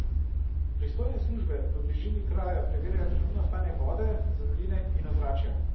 Pristojne službe v bližini kraja preverjajo trenutno stanje vode, zemljine in ozračja.